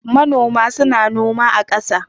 Manoma suna noma a ƙasa.